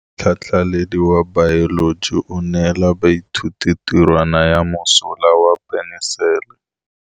Motlhatlhaledi wa baeloji o neela baithuti tirwana ya mosola wa peniselene.